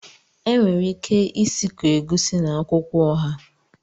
Enwere ike isikọ Egusi na akwukwo oha